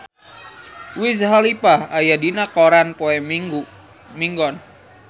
Wiz Khalifa aya dina koran poe Minggon